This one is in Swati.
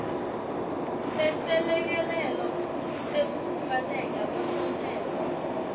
seselekelelo sekukhubateka kwasomphelo